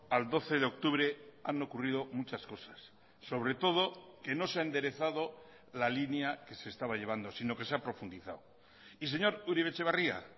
al doce de octubre han ocurrido muchas cosas sobre todo que no se ha enderezado la línea que se estaba llevando sino que se ha profundizado y señor uribe etxebarria